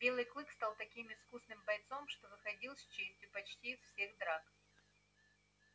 белый клык стал таким искусным бойцом что выходил с честью почти из всех драк